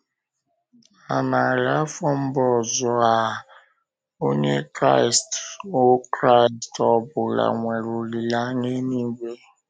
Na narị afọ mbụ Ọ́zọ A., Onye Kraịst ọ Kraịst ọ bụla nwere olileanya eluigwe.